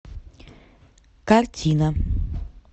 картина